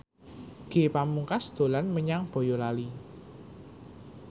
Ge Pamungkas dolan menyang Boyolali